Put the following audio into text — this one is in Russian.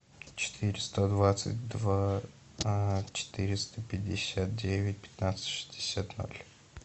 четыреста двадцать два четыреста пятьдесят девять пятнадцать шестьдесят ноль